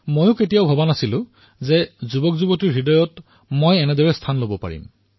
মই কেতিয়াও ভবা নাছিলো যে তৰুণ প্ৰজন্মৰ হৃদয়ত এইদৰে মই স্থান লাভ কৰিব পাৰিম